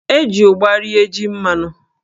E ji ụgba rie jí mmanụ.